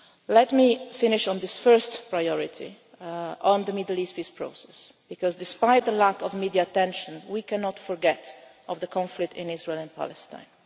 outreach. Let me finish on this first priority on the Middle East peace process because despite the lack of media attention we cannot forget the conflict in Israel and